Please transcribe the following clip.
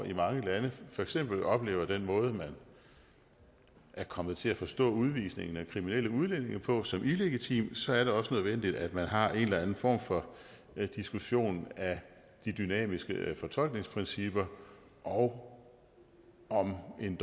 i mange lande for eksempel oplever den måde man er kommet til at forstå udvisningen af kriminelle udlændinge på som illegitim så er det også nødvendigt at man har en eller anden form for diskussion af de dynamiske fortolkningsprincipper og om en